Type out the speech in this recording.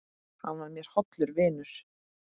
Hann var mér hollur vinur.